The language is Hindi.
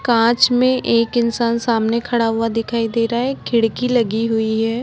कांच में एक इंसान सामने खड़ा हुआ दिखाई दे रहा है खिड़की लगी हुई है।